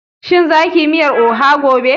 Shin za kiyi miyar oha gobe?